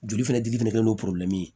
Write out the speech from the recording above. Joli fɛnɛ dili don